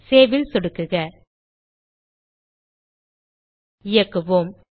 Saveல் சொடுக்குக இயக்குவோம்